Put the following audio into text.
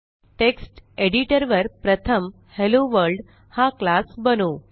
text editor वर प्रथम hello world हा classबनवू